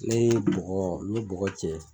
Ne ye bɔkɔ min bɔkɔ cɛ